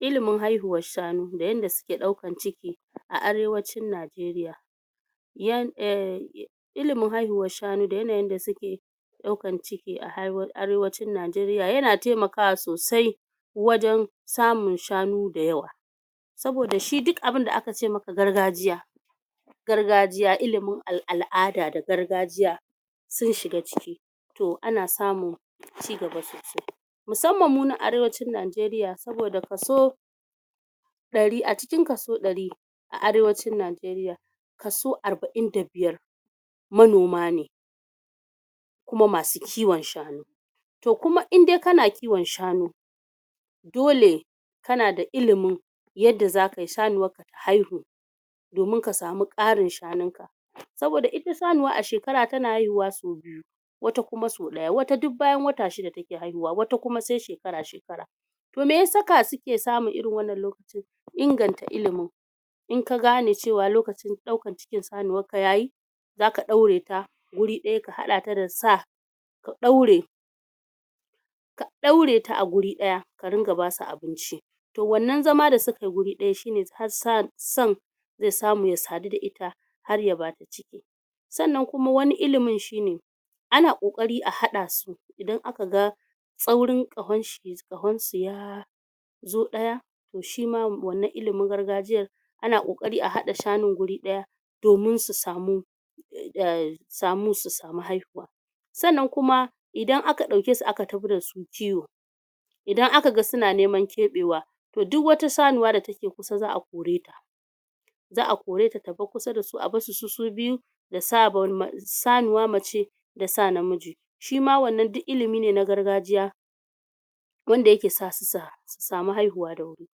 ilimin haihuwar shanu da yanda suke ɗaukan ciki a arewacin Najeriya ilimin haihuwar shanu da yanayin da suke ɗaukan ciki a halin arewacin Najeriya yana temakawa sosai wajen samun shanu da yawa saboda shi duk abunda aka ce maka gargajiya gargajiya ilimin al'ada da gargajiya sun shiga ciki to ana samun cigaba sosai musamman mu nan arewacin Najeriya saboda kaso a cikin kaso ɗari a arewacin Najeriya kaso arbain da biyar (45) manoma ne kuma masu kiwon shanu to kuma in dai kana kiwon shanu dole kana da ilimin yanda zaka yi shanuwar ka ta haihu domin ka samu ƙarin shanun ka saboda ita shanuwa a shekara tana haihuwa sau biyu (2) wata kuma sau ɗaya wata duk bayan wata shida take haihuwa wata kuma se shekara shekara to me ya saka suke samun irin wannan lokacin inganta ilimin in ka gane cewa lokacin ɗaukan cikin sanuwar ka yayi zaka ɗaure ta wuri ɗaya ka haɗa ta da sa ka ɗaure ka ɗaure ta a guri ɗaya ka ringa basu abinci to wannan zama da suka yi guri ɗaya shine har san ze samu ya sadu da ita har ya bata ciki sannan kuma wani ilimin shine ana ƙoƙari a haɗa su idan aka ga tsaurin ƙahon su ya zo ɗaya to shima wannan ilimin gargajiyar ana ƙoƙari a haɗa shanun guri ɗaya domin su samu su samu haihuwa sannan kuma idan aka ɗauke su aka tafi da su kiwo idan aka ga suna neman keɓewa to duk wata shanuwa da take kusa za'a kore ta za'a koreta ta bar kusa dasu a barsu su su biyu sanuwa mace da sa namiji shima wannan duk ilimi ne na gargajiya wanda yake sa su samu haihuwa da wuri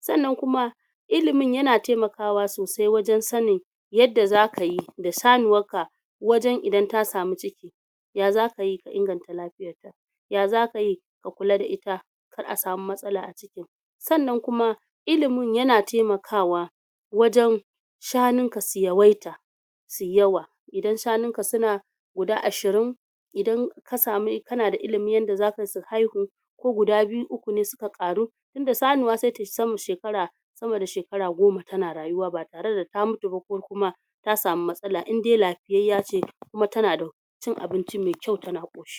sannan kuma ilimin yana temakawa sosai wajen sanin yanda zaka yi da shanuwar ka wajen idan ta samu ciki ya zaka yi ka inganta lafiyar ta? ya zaka yi ka kula da ita? kar a samu matsala a cikin sannan kuma ilimin yana temakawa wajen shanunka su yawaita suyi yawa idan shanun ka suna guda ashirin idan kasamu kana da ilimin yanda zaka yi su haihu ko guda biyu uku ne suka ƙaru tunda sanuwa se tayi sama da shekara sama da shekara goma tana rayuwa ba tare da ta mutu ba ko kuma ta samu matsala in dai lafiyayya ce kuma tana da cin abinci me kyau tana ƙoshi